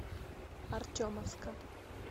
артемовска